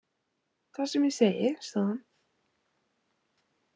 Það er sem ég segi, sagði hann.